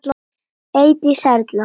Eydís Erla.